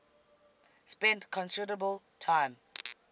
spent considerable time